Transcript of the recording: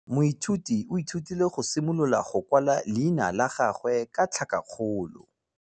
Moithuti o ithutile go simolola go kwala leina la gagwe ka tlhakakgolo.